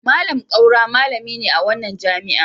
Malam Kaura malami ne a wannan jami'a.